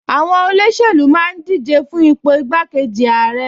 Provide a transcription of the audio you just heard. Àwọn olóṣèlú máa ń díje fún ipò igbákejì ààrẹ